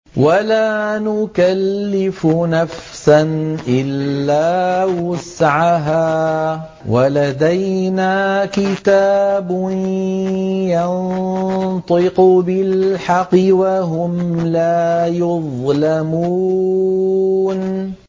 وَلَا نُكَلِّفُ نَفْسًا إِلَّا وُسْعَهَا ۖ وَلَدَيْنَا كِتَابٌ يَنطِقُ بِالْحَقِّ ۚ وَهُمْ لَا يُظْلَمُونَ